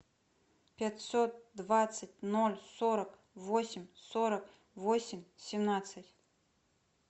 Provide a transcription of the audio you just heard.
пятьсот двадцать ноль сорок восемь сорок восемь семнадцать